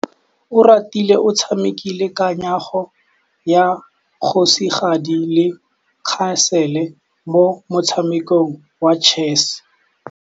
Oratile o tshamekile kananyô ya kgosigadi le khasêlê mo motshamekong wa chess.